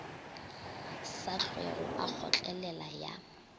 sa hlwego a kgotlelela ya